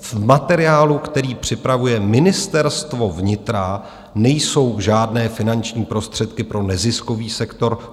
V materiálu, který připravuje Ministerstvo vnitra, nejsou žádné finanční prostředky pro neziskový sektor.